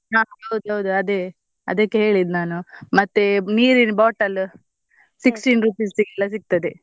ಹಾ ಹೌದೌದು ಅದೇ ಅದಕ್ಕೆ ಹೇಳಿದ್ ಮತ್ತೆ ನೀರಿನ bottle sixteen rupees ಗೆಲ್ಲ ಸಿಗ್ತದೆ.